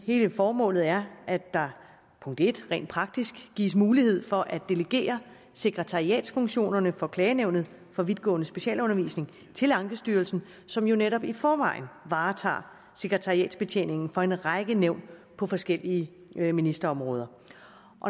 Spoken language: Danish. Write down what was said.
hele formålet er at der rent praktisk gives mulighed for at delegere sekretariatsfunktionerne for klagenævnet for vidtgående specialundervisning til ankestyrelsen som jo netop i forvejen varetager sekretariatsbetjeningen for en række nævn på forskellige ministerområder